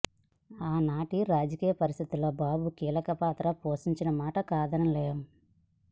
ఆనాటి రాజకీయ పరిస్థితిలో బాబు కీలక పాత్ర పోషించిన మాట కాదనలేం